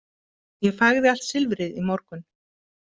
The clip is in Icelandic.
Ég fægði allt silfrið í morgun.